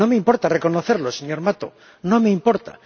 No me importa reconocerlo, señor Mato, no me importa.